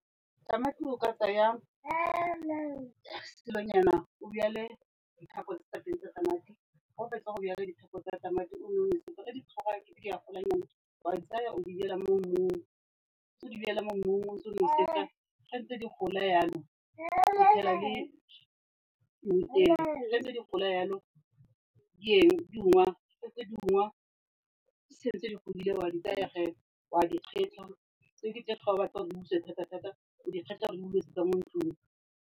Tamati o ka tsaya dilonyana o jwale dithapo tsa teng tsa tamati, fa o fetsa go jwala dithapo tsa tamati o nne o nosetsa. Fa di tlhoga ekete di a golanyana, o a di tsaya o di jwala mo mmung. Fa o ntse o di jwala mo mmung o ntse o nosetsa, fa di ntse di gola jalo, o tshela le mmutele. Fa di ntse di gola jalo, di ungwa, fa di ntse di ungwa, di setse di godile o a di tsaya, o a di kgetlha, tse dingwe tse fa o sa batle gore di butswe thatathata, o di kgetlha mo ntlong.